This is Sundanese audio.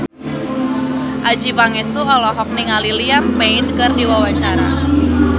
Adjie Pangestu olohok ningali Liam Payne keur diwawancara